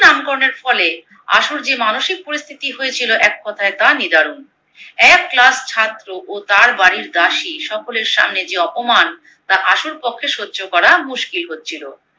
গিন্নি নামকরণের ফলে আশুর যে মানসিক পরিস্থিতি হয়েছিলো এক কথায় তা নিদারুন। এক Class ছাত্র ও তার বাড়ির দাসী সকলের সামনে যে অপমান তা আশুর পক্ষে সহ্য করা মুশকিল হচ্ছিলো।